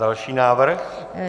Další návrh.